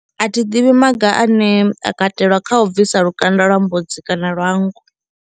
A thi ḓivhi maga ane a katelwa kha u bvisa lukanda lwa mbudzi kana lwa nngu.